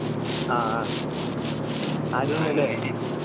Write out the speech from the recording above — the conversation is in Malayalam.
ആഹ് ആഹ് അരുൺ